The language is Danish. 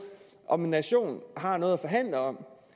om en nation har noget at forhandle om